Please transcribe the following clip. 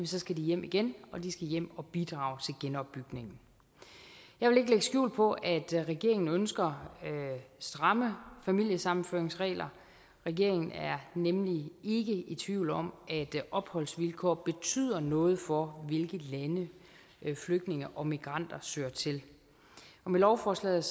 skal de hjem igen og de skal hjem og bidrage til genopbygningen jeg vil ikke lægge skjul på at regeringen ønsker stramme familiesammenføringsregler regeringen er nemlig ikke i tvivl om at opholdsvilkår betyder noget for hvilke lande flygtninge og migranter søger til med lovforslaget